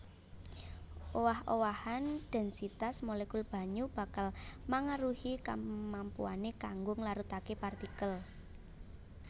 Owah owahan dhènsitas molekul banyu bakal mangaruhi kamampuané kanggo nglarutaké partikel